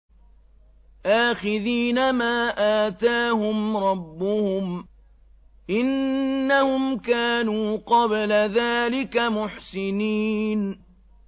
آخِذِينَ مَا آتَاهُمْ رَبُّهُمْ ۚ إِنَّهُمْ كَانُوا قَبْلَ ذَٰلِكَ مُحْسِنِينَ